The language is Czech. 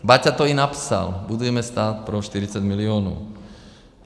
Baťa to i napsal: "Budujme stát pro 40 milionů."